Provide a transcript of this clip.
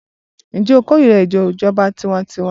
Ǹjẹ́ o kórira ètò ìjọba tiwańtiwa.